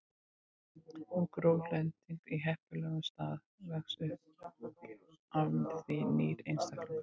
Ef gró lendir á heppilegum stað vex upp af því nýr einstaklingur.